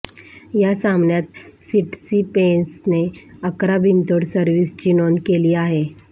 या सामन्यात सिटसिपेसने अकरा बिनतोड सर्व्हिसची नोंद केली आहे